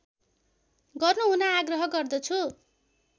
गर्नुहुन आग्रह गर्दछु